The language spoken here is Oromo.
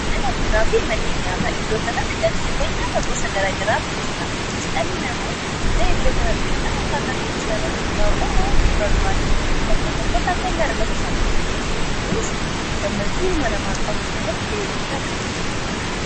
Mala buunaa fi manni nyaataa iddoo kanatti galseewwan yaata gosa garagaraatu jira kunis dhalii namoo gae iddoo kanadhufudhanakkaa tafe dhisaanratti hundaa'uudhan waani barbaade bakka tokkotti akka in argatu isa godha kunis gammachuu hilma namaa qabu keessatti ga'ee guddaain qaba.